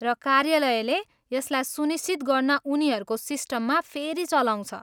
र कार्यालयले यसलाई सुनिश्चित गर्न उनीहरूको सिस्टममा फेरि चलाउँछ।